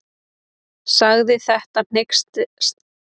Sagði þetta hneykslanlegt og ætti alls ekki við í svona samkvæmi.